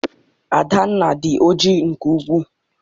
Adanna adị oji nke ukwu?